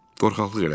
Qorxaqlıq elədim.